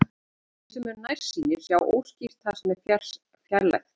Þeir sem eru nærsýnir sjá óskýrt það sem er fjarlægt.